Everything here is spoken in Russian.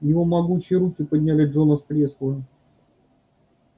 его могучие руки подняли джона с кресла